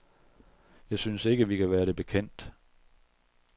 Jeg synes ikke, vi kan være det bekendt.